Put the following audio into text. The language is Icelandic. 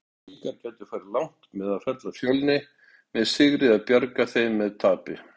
Blikar gætu farið langt með að fella Fjölni með sigri eða bjarga þeim með tapi?